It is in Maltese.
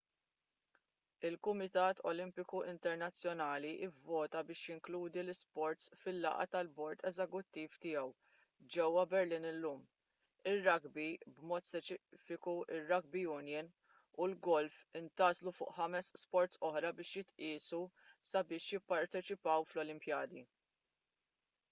il-kumitat olimpiku internazzjonali vvota biex jinkludi l-isports fil-laqgħa tal-bord eżekuttiv tiegħu ġewwa berlin illum ir-rugby b'mod speċifiku r-rugby union u l-golf intgħażlu fuq ħames sports oħra biex jitqiesu sabiex jipparteċipaw fl-olimpjadi